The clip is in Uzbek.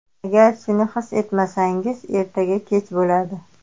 Agar shuni his etmasangiz, ertaga kech bo‘ladi.